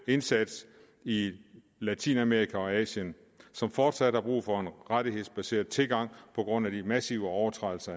indsats i latinamerika og asien som fortsat har brug for en rettighedsbaseret tilgang på grund af de massive overtrædelser